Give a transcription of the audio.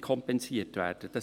kompensiert werden müsste.